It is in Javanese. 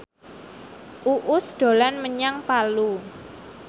Uus dolan menyang Palu